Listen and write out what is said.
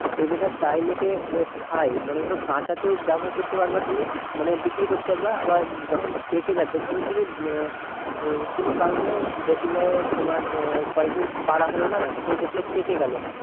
পেঁপেটা প্রায় লোকেই খাই মানে ধরো কাঁচা তেও ব্যবহার করতে পারবা তুমি মানে বিক্রি করতে পারবা আবার যখন পেকে যাবে ধরো তুমি আহ কোনো কারণে দেখলে তোমার আহ কয়েক দিন পারা হলো না তো দেখলে পেকে গেলো